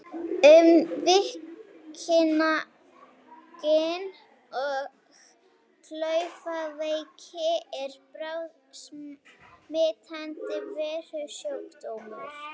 Um veikina Gin- og klaufaveiki er bráðsmitandi veirusjúkdómur.